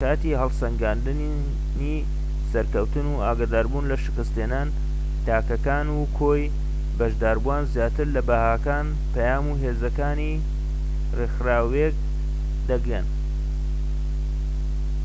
لە کاتی هەڵسەنگاندنی سەرکەوتن و ئاگادار بوون لە شکستهێنان تاکەکان و کۆی بەشداربووان زیاتر لە بەهاکان پەیام و هێزەکانی ڕێکخراوێک دەگەن